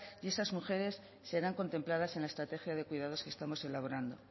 y esas mujeres serán contempladas en la estrategia de cuidados que estamos elaborando